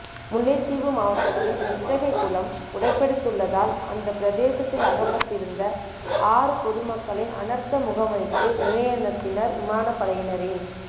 முல்லைத்தீவு மாவட்டத்தின் நித்தகை குளம் உடைப்பெடுத்துள்ளதால் அந்த பிரதேசத்தில் அகப்பட்டிருந்த ஆறுபொதுமக்களை அனர்த்த முகாமைத்து நிலையத்தினர் விமானப்படையினரின்